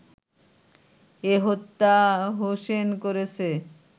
এ হত্যা হোসেন করেছে